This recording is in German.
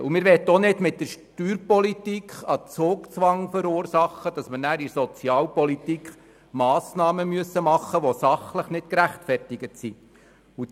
Wir möchten auch nicht mit der Steuerpolitik einen Zugzwang verursachen, der dazu führt, dass wir in der Sozialpolitik Massnahmen treffen müssen, die sachlich nicht gerechtfertigt sind.